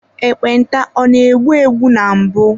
Ekpenta ọ na egbu egbu na mbụ.